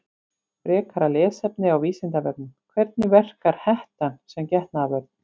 Frekara lesefni á Vísindavefnum: Hvernig verkar hettan sem getnaðarvörn?